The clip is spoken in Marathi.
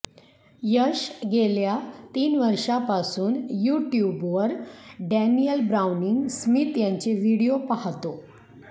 यश गेल्या तीन वर्षांपासून युट्यूबवर डॅनियल ब्राऊनिंग स्मिथ यांचे व्हिडीओ पाहतो